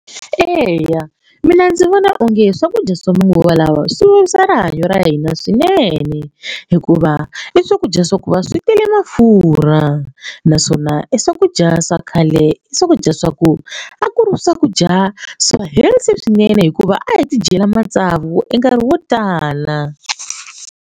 Eya mina ndzi vona onge swakudya swa manguva lawa swi vavisa rihanyo ra hina swinene hikuva i swakudya swa ku va swi tele mafurha naswona i swakudya swa khale i swakudya swa ku a ku ri swakudya swa healthy swinene hikuva a hi ti dyela matsavu e nkarhi wo tala.